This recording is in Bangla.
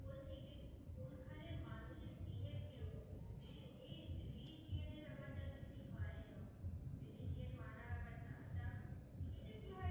কোনখানের মানুষের behave কিরোকম? reli~ এই religion এর ব্যাপার টা তোর কি হয় religion মানে